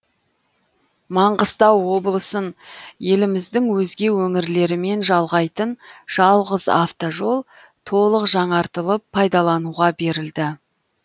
маңғыстау облысын еліміздің өзге өңірлерімен жалғайтын жалғыз автожол толық жаңартылып пайдалануға берілді